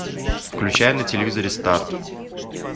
включай на телевизоре старт